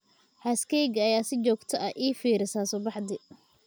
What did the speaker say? Xaaskayga ayaa si joogto ah ii fiirisa subaxdii.